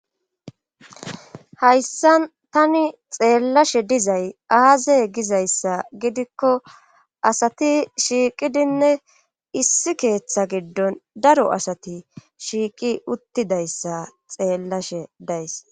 Hayssa tani xeellashe dizay aaze gizayssa gidikko asati shiiqidinne issi keeththa giddon daro asati shiiqi uttidayssa xeellashe days.